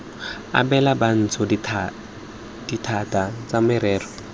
abela bantsho dithata tsa merero